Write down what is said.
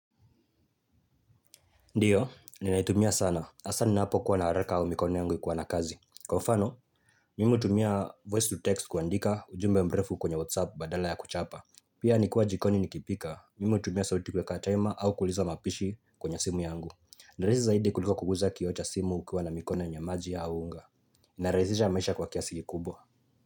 Ndio, ninaitumia sana. Hasa ninapokuwa na haraka au mikono yangu ikiwa na kazi. Kwa mfano, mimi hutumia voice to text kuandika ujumbe mrefu kwenye whatsapp badala ya kuchapa. Pia nikwa jikoni nikipika, mimi tumia sauti kuwekatema au kuliza mapishi kwenye simu yangu. Ni rahisi zaidi kuliko kuguza kioo cha simu ukiwa na mikono yenye maji au unga. Narahizisha maisha kwa kiasi kikubwa.